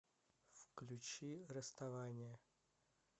включи расставание